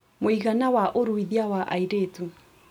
Mũigana wa ũruithia wa airĩtu